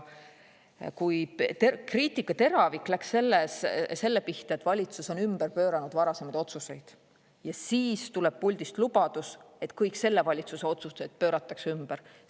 Kriitika teravik läks selle pihta, et valitsus on ümber pööranud varasemaid otsuseid – aga siis tuleb puldist lubadus, et kõik selle valitsuse otsused pööratakse ümber.